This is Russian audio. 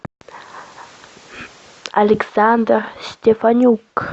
александр степанюк